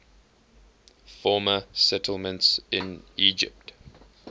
former settlements in egypt